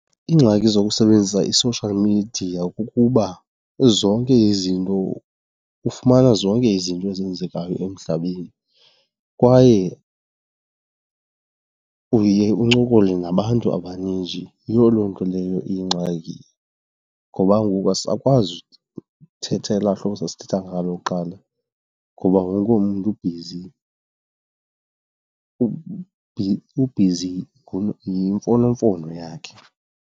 Iingxaki zokusebenzisa i-social media kukuba zonke izinto, ufumana zonke izinto ezenzekayo emhlabeni kwaye uye uncokole nabantu abaninji. Yiyo loo nto leyo iyingxaki ngoba ngoku asisakwazi uthetha elaa hlobo sasithetha ngalo kuqala ngoba wonke umntu ubhizi ubhizi kwimfonomfono yakhe.